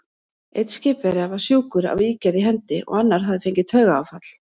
Einn skipverja var sjúkur af ígerð í hendi, og annar hafði fengið taugaáfall.